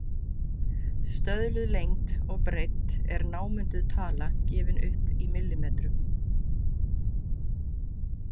Stöðluð lengd og breidd er námunduð tala, gefin upp í millimetrum.